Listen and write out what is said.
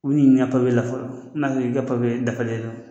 U bi n'i ɲininka papiye la fɔlɔ n'a i ka piye dafalen don.